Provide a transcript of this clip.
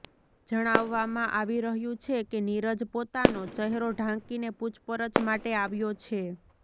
જણાવવામાં આવી રહ્યુ છે કે નીરજ પોતાનો ચહેરો ઢાંકીને પૂછપરછ માટે આવ્યો છે